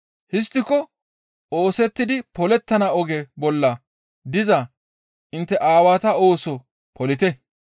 Histtiko oosettidi polettontta oge bolla diza intte aawata ooso polite.